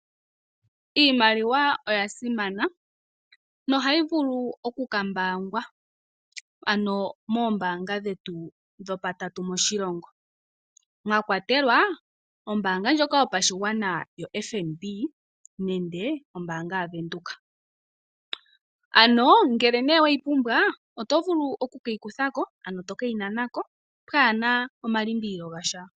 Iimaliwa oya simana nohayi vulu oku ka mbaangwa moombaanga dhetu dhopatatu moshilongo mwa kwatelwa ombaanga yotango yopashigwana yoFNBnenge ombaanga yaVenduka. Ngele nee we yi pumbwa oto vulu oku e yi kutha ko, ano to ke yi nana ko pwaana omalimbililo gasha.